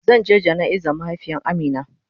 Zan je jana'iza mahaifiyan Amina.